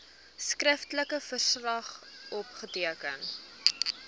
skriftelike verslag opgeteken